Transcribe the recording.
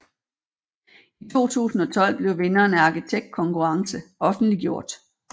I 2012 blev vinderen af arkitektkonkurrence offentliggjort